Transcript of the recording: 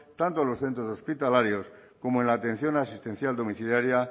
tanto en los centros hospitalarios como en la atención asistencial domiciliaria